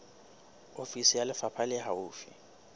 ofisi ya lefapha le haufi